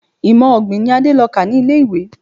Imọ-ọ̀gbìn ni Adé lọ kà ní ilé-ìwé.